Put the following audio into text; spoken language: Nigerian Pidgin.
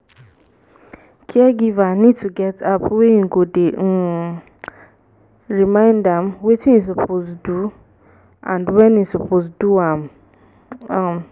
caregiver need to get app wey im go dey um remind am wetin im suppose do and when im suppose do am am